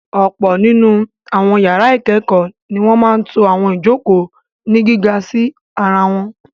Ọ̀pọ̀ nínú àwọn yàrá ìkẹ́kọ̀ọ́ ni wọ́n máa ń to àwọn ìjokòó ní gíga sí ara wọn.